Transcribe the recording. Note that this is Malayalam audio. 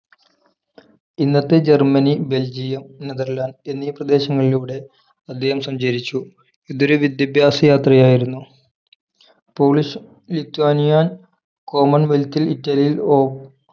ഇന്നത്തെ ജർമ്മനി ബെൽജിയം നെതർലാന്റ് എന്നീ പ്രദേശങ്ങളിലൂടെ അദ്ദേഹം സഞ്ചരിച്ചു ഇതൊരു വിദ്യാഭ്യാസ യാത്രയായിരുന്നു പോളിഷ്ലി ലത്വാനിയ common wealth ഇൽ ഇറ്റാലിയൻ ഓ